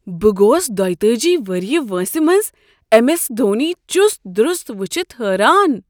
بہٕ گوٚوس دۄتأجی وریہہ وٲنٛسہ منٛز ایم ایس دھونی چُست دُرُست وٕچھتھ حٲران۔